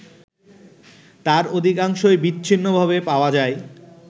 তার অধিকাংশই বিচ্ছিন্নভাবে পাওয়া যায়